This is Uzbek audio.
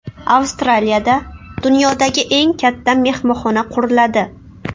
Avstraliyada dunyodagi eng katta mehmonxona quriladi.